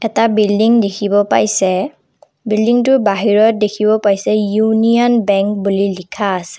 এটা বিল্ডিং দেখিব পাইছে বিল্ডিংটোৰ বাহিৰত দেখিব পাইছে ইউনিয়ন বেংক বুলি লিখা আছে।